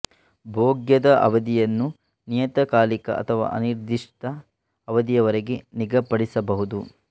ಭೋಗ್ಯದ ಅವಧಿಯನ್ನು ನಿಯತ ಕಾಲಿಕ ಅಥವಾ ಅನಿರ್ಧಿಷ್ಟ ಅವಧಿಯವರೆಗೆ ನಿಗಧಿಪಡಿಸಬಹುದು